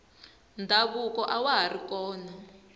ndhavuko awa hari kona